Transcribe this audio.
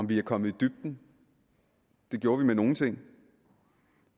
vi kommet i dybden det gjorde vi med nogle ting